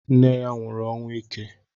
Nne ya nwụrụ ọnwụ ike.